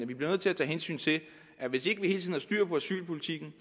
vi bliver nødt til at tage hensyn til at hvis ikke vi hele tiden har styr på asylpolitikken